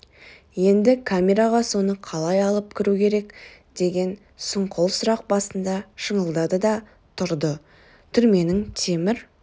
енді камераға соны қалай алып кіру керек деген сұңқыл сұрақ басында шыңылдады да тұрды түрменің темір